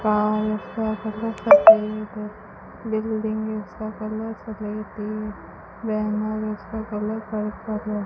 Car का colour सफेद है बिल्डिंग्स का कलर सफेद है वेन और उसका कलर पर्पल है।